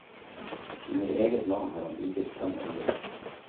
Under eget navn har han utgitt fem album.